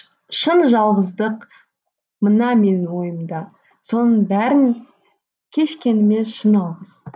шын жалғыздық мына менің мойнымда соның бәрін кешкеніме шын алғыс